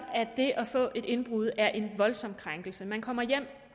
det at for et indbrud er en voldsom krænkelse man kommer hjem